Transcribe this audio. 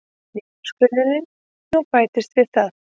Niðurskurðurinn nú bætist við það